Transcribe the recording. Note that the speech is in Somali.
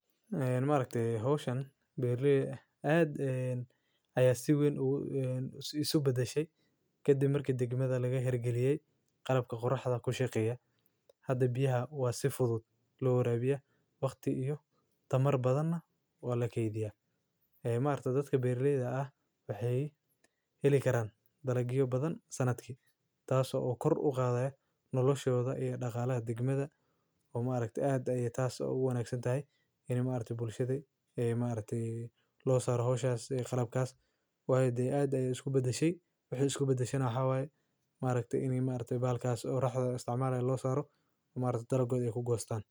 Een ma rakti hooshin beerli aad een ayaa si weyn ugu een isu bedeshay. Kadib markii degmada laga hel geliyay qalabka qurx ah ku shaqeeya. Hada biyaha waa si fudud loo horeeyaa waqti iyo tamar badana waa la keydiyaa. Ee maarato dadka beerliyada ah waxee heli karaan dalagiga badan sanadkii, taaso oo kor u qaaday nolosheyda iyo dhaqaale ayaad digmada oo ma ragtay aad ayee taasoo ugu wanaagsan tahay inii maariti bulshaday ee maaritii loo saaro hawshaha qalabkaas. Waaye day aad ay isku bedeshay? Wixii isku bedashana waa maaraktay inig maartay baalkaas raaxdo istaamaheeyaan loo saaro maarta dalogood ee ku goostaan.